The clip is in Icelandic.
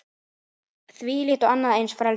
Þvílíkt og annað eins frelsi!